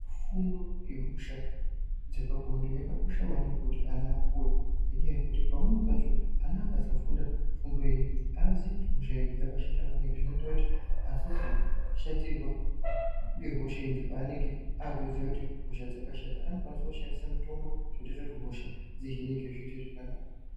Fundo yehosha dzepabonde yakakosha maningi kuti ana apuwe ngenyaya yekuti pamweni pacho ana akasafunda fundo iyi haazii kuti hosha idzi dzakashata maningi zvinoita kuti asazoshatirwa ngehosha idzi paanenge aakuziya kuti hosha dzakashata. Anokwanisa kushandisa mitombo zvinoita kuti hosha dzihinike zvoita zvakanaka.